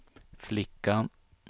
flickan